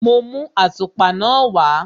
Mo mú àtùpa náà wá.